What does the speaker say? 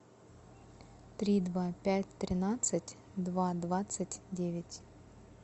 три два пять тринадцать два двадцать девять